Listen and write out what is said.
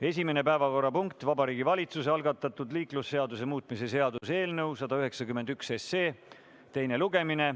Esimene päevakorrapunkt on Vabariigi Valitsuse algatatud liiklusseaduse muutmise seaduse eelnõu 191 teine lugemine.